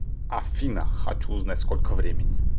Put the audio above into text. афина хочу узнать сколько времени